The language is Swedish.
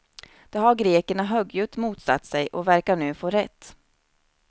Det har grekerna högljutt motsatt sig, och verkar nu få rätt.